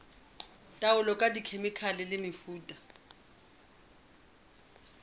taolo ka dikhemikhale le mefuta